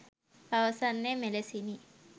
පවසන්නේ මෙලෙසිනි